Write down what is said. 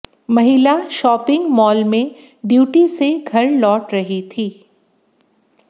महिला shopping mall में duty से घर लौट रही थी